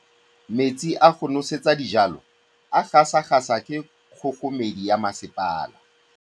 Metsi a go nosetsa dijalo a gasa gasa ke kgogomedi ya masepala.